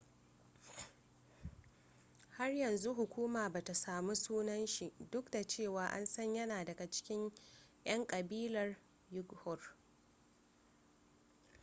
har yanzu hukuma bata samu sunan shi duk da cewa an san yana daga cikin yan kabilar uighur